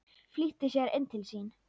Flýtti sér inn til sín.